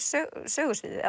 sögusviðið